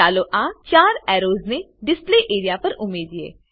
ચાલો આ 4 એર્રોસને ડિસ્પ્લે એરિયા પર ઉમેરીએ